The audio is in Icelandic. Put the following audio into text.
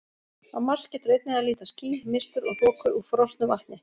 Á Mars getur einnig að líta ský, mistur og þoku úr frosnu vatni.